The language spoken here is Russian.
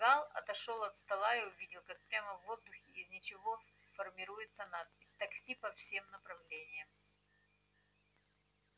гаал отошёл от стола и увидел как прямо в воздухе из ничего формируется надпись такси по всем направлениям